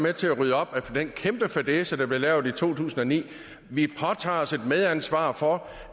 med til at rydde op efter den kæmpe fadæse der blev lavet i to tusind og ni vi påtager os et medansvar for